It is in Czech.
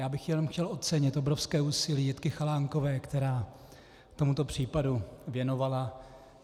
Já bych jenom chtěl ocenit obrovské úsilí Jitky Chalánkové, které tomuto případu věnovala.